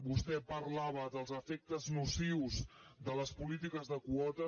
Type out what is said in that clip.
vostè parlava dels efectes nocius de les polítiques de quotes